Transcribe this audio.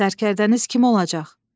Sərkərdəniz kim olacaq?